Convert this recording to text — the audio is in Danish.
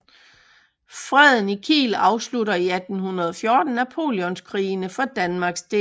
Freden i Kiel afslutter i 1814 Napoleonskrigene for Danmarks del